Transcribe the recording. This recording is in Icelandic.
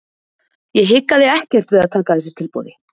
Ég hikaði ekkert við að taka þessu tilboði.